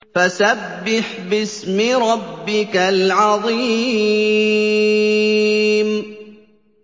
فَسَبِّحْ بِاسْمِ رَبِّكَ الْعَظِيمِ